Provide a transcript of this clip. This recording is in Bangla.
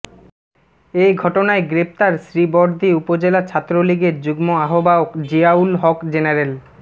এ ঘটনায় গ্রেপ্তার শ্রীবরদী উপজেলা ছাত্রলীগের যুগ্ম আহ্বায়ক জিয়াউল হক জেনারেল